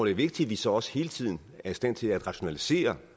er vigtigt at vi så også hele tiden er i stand til at rationalisere